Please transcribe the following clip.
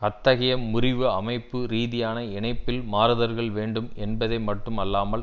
அத்தகைய முறிவு அமைப்பு ரீதியான இணைப்பில் மாறுதல்கள் வேண்டும் என்பதை மட்டும் அல்லாமல்